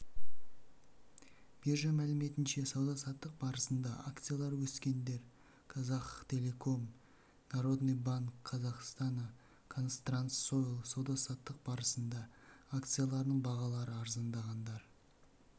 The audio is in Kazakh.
биржа мәліметінше сауда-саттық барысында акциялары өскендер казахтелеком народный банк казахстана казтрансойл сауда-саттық барысында акцияларының бағалары арзандағандар